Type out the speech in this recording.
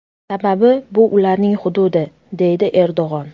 Sababi bu ularning hududi”, deydi Erdo‘g‘on.